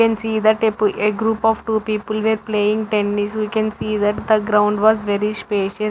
we can see the a group of two people were playing tennis we can see that the ground was very spacious.